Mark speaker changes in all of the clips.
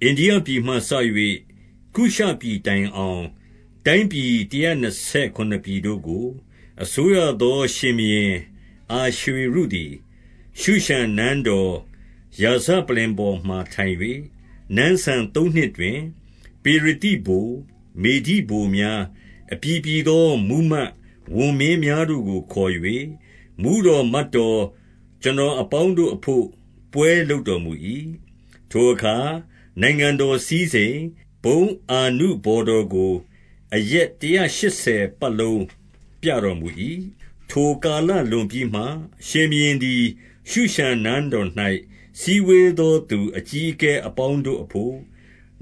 Speaker 1: အိန္ဒိယပြည်မှစ၍ ကုရှပြည်တိုင်အောင် တိုင်းပြည်တရာနှစ်ဆယ်ခုနစ်ပြည်တို့ကို အစိုးရသော ရှင်ဘုရင် အာရွှေရုသည်၊ ရှုရှန်နန်းတော် ရာဇပလ္လင်ပေါ်မှာ ထိုင်၍ နန်းစံသုံးနှစ်တွင်၊ ပေရသိဗိုလ်၊ မေဒိဗိုလ်များ၊ အပြည်ပြည်သော မှူးမတ်ဝန်မင်းများတို့ကို ခေါ်၍၊ မှူးတော် မတ်တော် ကျွန်တော်အပေါင်းတို့အဘို့ ပွဲလုပ်တော်မူ၏။ ထိုအခါနိုင်ငံတော်စည်းစိမ်၊ ဘုန်းအာနုဘော် တော်ကို အရက်တရာရှစ်ဆယ်ပတ်လုံး ပြတော်မူ၏။ ထိုကာလလွန်ပြီးမှ၊ ရှင်ဘုရင်သည် ရှုရှန် နန်းတော်၌ စည်းဝေးသောသူ အကြီးအငယ်အပေါင်းတို့ အဘို့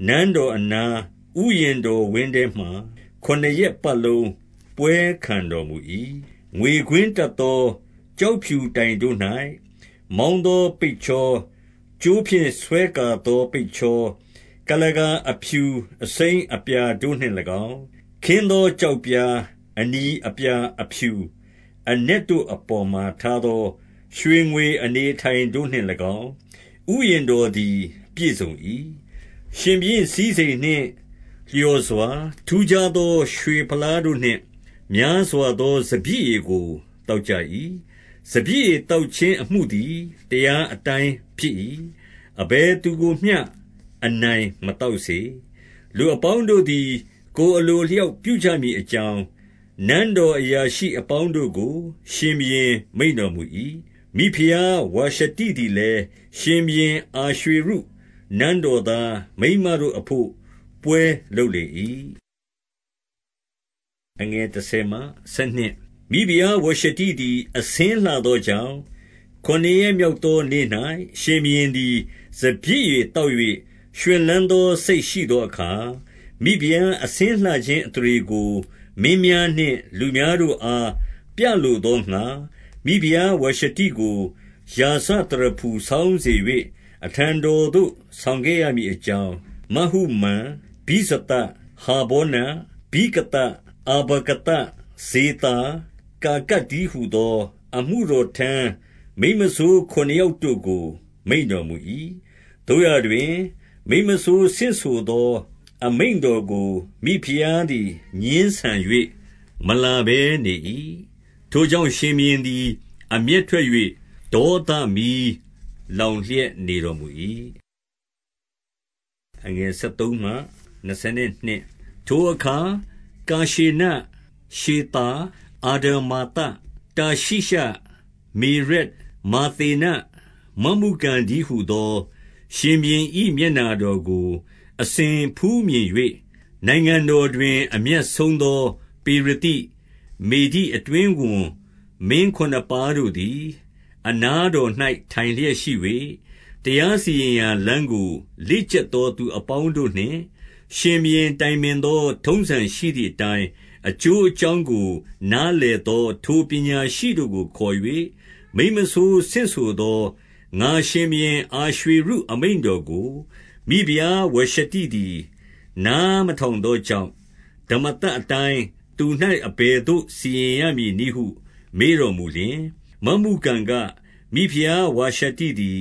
Speaker 1: နန်းတော်အနားဥယျာဉ်တော်ဝင်းထဲမှာ ခုနစ်ရက် ပတ်လုံးပွဲခံတော်မူ၏။ ငွေကွင်းတပ်သော ကျောက်ဖြူတိုင်တို့၌ မောင်း သော ပိတ်ချောကြိုးဖြင့် ဆွဲကာသော ပိတ်ချောကုလား အဖြူ အစိမ်းအပြာတို့နှင့်၎င်း၊ ခင်းသောကျောက်ပြား အနီအပြာအဖြူအနက်တို့အပေါ်မှာ ထားသော ရွှေငွေ အနေအထိုင်တို့နှင့်၎င်း ဥယျာဉ်တော်သည် ပြည့်စုံ၏။ ရှင်ဘုရင်စည်းစိမ်နှင့် လျော်စွာ ထူးခြားသော ရွှေဖလားတို့နှင့် များစွာသော စပျစ်ရည်ကို သောက်ကြ ၏။ စပျစ်ရည် သောက်ခြင်းအမှုသည် တရား အတိုင်း ဖြစ်၏။ အဘယ်သူကိုမျှ အနိုင်မသောက်စေ၊ လူအပေါင်းတို့သည် ကိုယ်အလို အလျောက်ပြုကြမည် အကြောင်း၊ နန်းတော်အရာရှိအပေါင်းတို့ကို ရှင်ဘုရင် မိန့်တော်မူ၏။ မိဖုရားဝါရှတိသည်လည်း၊ ရှင်ဘုရင် အာရွှေရု နန်းတော်သား မိန်းမတို့အဘို့ ပွဲလုပ်လေ၏။ မိဖုရားဝါရှတိသည် အဆင်းလှသောကြောင့်၊ ခုနစ်ရက်မြောက်သော နေ့၌ ရှင်ဘုရင်သည် စပျစ်ရည် သောက်၍ ရွှင်လန်းသော စိတ်ရှိသောအခါ၊ ဖိဖုရား အဆင်းလှခြင်း အသရေကို မင်းများနှင့် လူများတို့အား ပြလိုသောငှါ၊ မိဖုရားဝါရှတိကို ရာဇသရဖူဆောင်းစေ၍၊ အထံတော်သို့ ဆောင်ခဲ့ရမည်အကြောင်း၊ မဟုမန်၊ ဗိဇသ၊ ဟာဗောန၊ ဗိဂသ၊ အဗာဂသ၊ ဇေသာ၊ ကာကတ် တည်းဟူသော အမှုတော်ထမ်း မိန်းမစိုးခုနစ်ယောက် တို့ကို မိန့်တော်မူ၏။ သို့ရာတွင် မိန်းမစိုးဆင့်ဆိုသော အမိန့်တော်ကို၊ မိဖုရားသည် ငြင်းဆန်၍ မလာဘဲနေ၏။ ထိုကြောင့် ရှင်ဘုရင်သည် အမျက်ထွက်၍၊ ဒေါသမီးလောင်လျက် နေတော်မူ၏။ ထိုအခါကာရှေန၊ ရှေသာ၊ အာဒမာသ၊ တာရှိရှ၊ မေရက်၊ မာသေန၊ မမုကန်တည်းဟူသော ရှင်ဘုရင်၏ မျက်နှာတော်ကို အစဉ်ဖူးမြင်၍၊ နိုင်ငံတော် တွင် အမြတ်ဆုံးသော ပေရသိ၊ မေဒိအတွင်းဝန်မင်း ခုနစ်ပါးတို့သည် အနားတော်၌ထိုင်လျက်ရှိ၍၊ တရားစီရင် ရာလမ်းကို လေ့ကျက်သောသူအပေါင်းတို့နှင့် ရှင်ဘုရင် တိုင်ပင်သော ထုံးစံရှိသည်အတိုင်း၊ အကျိုးအကြောင်းကို နားလည်သောထိုပညာရှိတို့ကိုခေါ်၍၊ မိန်းမစိုးဆင့်ဆိုသော ငါရှင်ဘုရင် အာရွှေရု အမိန့်တော်ကို၊ မိဖုရားဝါရှတိသည် နားမထောင်သော ကြောင့်၊ ဓမ္မသတ်အတိုင်းသူ၌ အဘယ်သို့ စီရင်ရမည် နည်းဟု မေးတော်မူလျှင်၊ မမုကန်က၊ မိဖုရားဝါရှတိသည်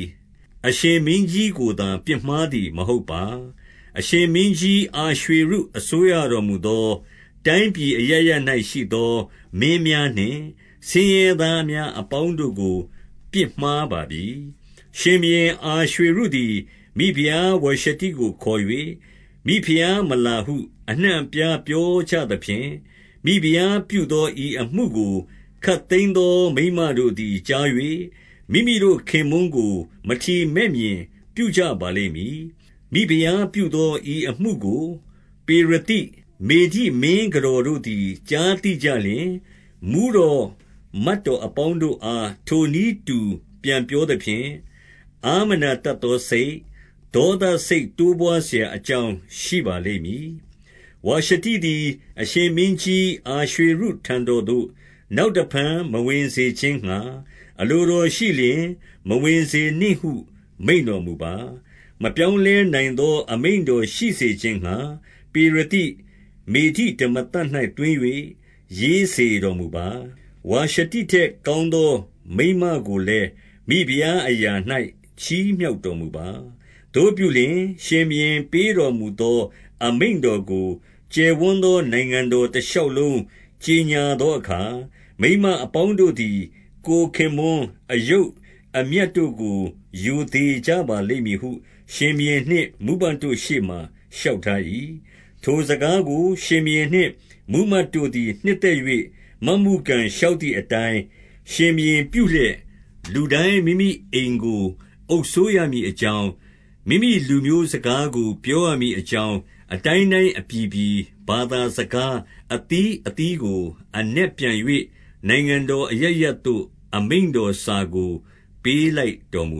Speaker 1: အရှင်မင်းကြီး ကိုသာပစ်မှားသည် မဟုတ်ပါ။ အရှင်မင်းကြီး အာရွှေရု အစိုးရတော်မူသော တိုင်းပြည်အရပ်ရပ်၌ ရှိသော မင်းများနှင့် ဆင်းရဲသားများ အပေါင်းတို့ကို ပြစ်မှားပါပြီ။ ရှင်ဘုရင် အာရွှေရုသည် မိဖုရားဝါရှတိကို ခေါ်၍၊ မိဖုရားမလာဟု အနှံ့အပြားပြောကြသဖြင့်၊ မိဖုရားပြုသော ဤအမှုကိုခပ်သိမ်းသော မိန်းမတို့သည် ကြား၍ မိမိတို့ခင်ပွန်းကို မထီမဲ့မြင်ပြုကြပါလိမ့်မည်။ မိဖုရားပြုသော ဤအမှုကို ပေရသိ၊ မေဒိ မင်းကတော်တို့သည် ကြားသိကြလျှင်၊ မှူးတော်မတ်တော် အပေါင်းတို့အား ထိုနည်းတူ ပြန်ပြောသဖြင့်၊ အားမနာ တတ်သောစိတ်၊ ဒေါသစိတ် တိုးပွားစရာအကြောင်းရှိပါ လိမ့်မည်။ ဝါရှတိသည် အရှင်မင်းကြီး အာရွှေရုထံတော်သို့ နောက်တဖန် မဝင်စေခြင်းငှါ အလိုတော်ရှိလျှင် မဝင်စေ နှင့်ဟု မိန့်တော်မူပါ။ မပြောင်းလဲနိုင်သော အမိန့်တော် ရှိစေခြင်းငှါ ပေရသိ၊ မေဒိဓမ္မသတ်၌သွင်း၍ ရေးစေ တော်မူပါ။ ဝါရှတိထက် ကောင်းသော မိန်းမကိုလည်း မိဖုရားအရာ၌ ချီးမြှောက်တော်မူပါ။ သို့ပြုလျှင် ရှင်ဘုရင် ပေးတော်မူသော အမိန့် တော်ကို ကျယ်ဝန်းသော နိုင်ငံတော်တရှောက်လုံး ကြော်ငြာသောအခါ၊ မိန်းမအပေါင်းတို့သည် ကိုယ်ခင်ပွန်း အယုတ်အမြတ်တို့ကို ရိုသေကြပါလိမ့်မည်ဟု ရှင်ဘုရင် နှင့် မှူးမတ်တို့ရှေ့မှာ လျှောက်ထား၏။ ထိုစကားကို ရှင်ဘုရင်နှင့် မှူးမတ်တို့သည် နှစ်သက်၍ မမုကန်လျှောက်သည်အတိုင်း ရှင်ဘုရင် ပြုလျက်၊ လူတိုင်း မိမိအိမ်ကို အုပ်စိုးရမည်အကြောင်း၊ မိမိလူမျိုးစကားကို ပြောရမည်အကြောင်း၊ အတိုင်းတိုင်း အပြည်ပြည် ဘာသာစကား အသီးအသီးကို အနက်ပြန် ၍ နိုင်ငံတော်အရပ်ရပ်သို့ အမိန့်တော်စာကို ပေးလိုက် တော်မူ